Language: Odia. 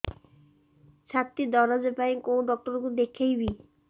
ଛାତି ଦରଜ ପାଇଁ କୋଉ ଡକ୍ଟର କୁ ଦେଖେଇବି